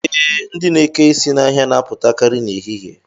Ee, ndị na-eke isi n'ahịa na-apụtakarị n'ehihie